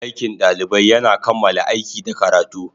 Aikin ɗalibai yana kammala aiki da karatu.